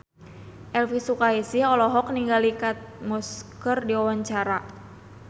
Elvy Sukaesih olohok ningali Kate Moss keur diwawancara